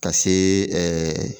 Ka se ɛɛ